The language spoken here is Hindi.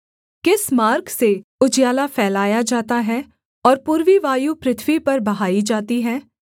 किस मार्ग से उजियाला फैलाया जाता है और पूर्वी वायु पृथ्वी पर बहाई जाती है